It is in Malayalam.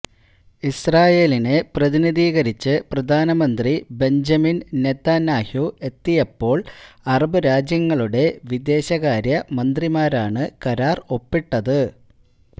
ഇസ്രയേലിനെ പ്രതിനിധീകരിച്ച് പ്രധാനമന്ത്രി ബെഞ്ചമിന് നെതന്യാഹു എത്തിയപ്പോള് അറബ് രാജ്യങ്ങളുടെ വിദേശകാര്യ മന്ത്രിമാരാണ് കരാര് ഒപ്പിട്ടത്